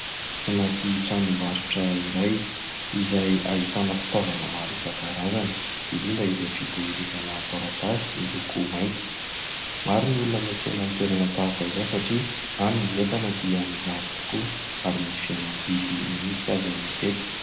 Anaty tranombarotra iray izay ahitana fitaovana maro isan-karazany, indrindra ireo fitehirizana taratasy miloko mainty. Maro ny olona miantsena amin'ny toerana tahaka izao satria any ny entana dia mirary tokoa ary misy fihenam-bidy mihitsy aza matetika.